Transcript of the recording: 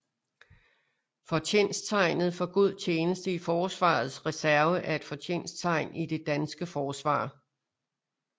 Fortjensttegnet for god tjeneste i Forsvarets Reserve er et fortjensttegn i det danske Forsvar